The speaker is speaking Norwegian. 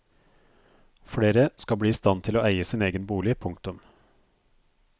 Flere skal bli i stand til å eie sin egen bolig. punktum